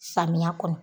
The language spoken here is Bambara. Samiya kɔnɔ